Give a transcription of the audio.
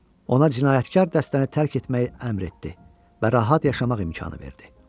Ona cinayətkar dəstəni tərk etməyi əmr etdi və rahat yaşamaq imkanı verdi.